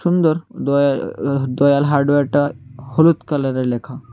সুন্দর দ-দয়াল হার্ডওয়ারটা হলুদ কালারের লেখা।